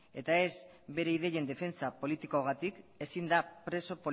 eta ez bere ideien defentsa politikoagatik ezin da preso